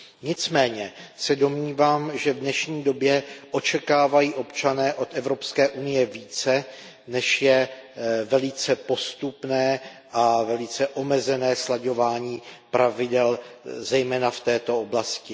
Nicméně se domnívám, že v dnešní době očekávají občané od Evropské unie více, než je velice postupné a velice omezené slaďování pravidel, zejména v této oblasti.